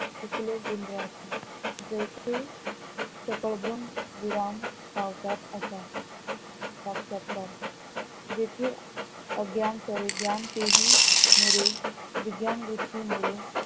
चुकलो गोंधळासी जैसे सकळ भ्रम विराम पावतात असा साक्षात्कार, जेथे आग्यान करेग्यांनं ते हि मुरे विज्ञान गोष्टीमुळे